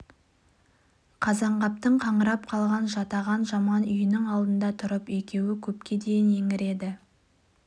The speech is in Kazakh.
қазанғаптың қаңырап қалған жатаған жаман үйінің алдында тұрып екеуі көпке дейін еңіреді